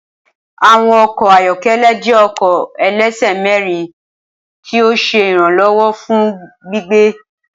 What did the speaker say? Awọn ọkọ ayọkẹlẹ jẹ ọkọ ẹlẹsẹ mẹrin ti o ṣe iranlọwọ fun gbigbe.